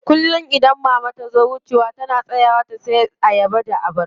Kullum idan mama tazo wucewa tana tsayawa ta siya abarba da ayaba.